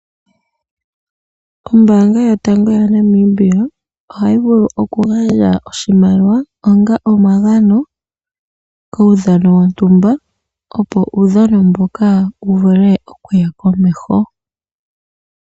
Ombaanga yotango yaNamibia ohayi vulu oku gandja oshimaliwa onga omagano kuudhano wontumba, opo uudhano mbuka wuvule okuya komeho.